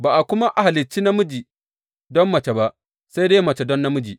Ba a kuma halicci namiji don mace ba, sai dai mace don namiji.